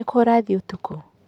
Nĩ kĩĩ ũrathiĩ ũtukũ?